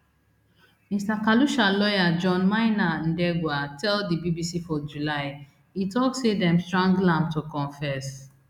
mr khalusha lawyer john maina ndegwa tell di bbc for july e tok say dem strangle am to confess